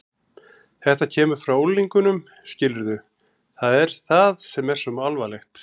Þetta kemur frá unglingunum, skilurðu, það er það sem er svo alvarlegt.